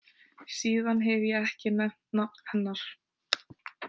Síðan hef ég ekki nefnt nafn hennar.